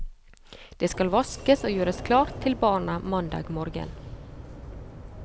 Det skal vaskes og gjøres klart til barna mandag morgen.